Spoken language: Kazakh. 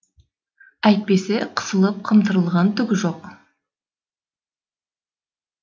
әйтпесе қысылып қымтырылған түгі жоқ